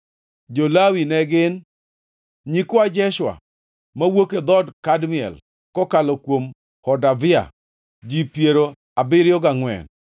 Jo-Lawi ne gin: nyikwa Jeshua (mowuok e dhood Kadmiel kokalo kuom Hodavia), ji piero abiriyo gangʼwen (74).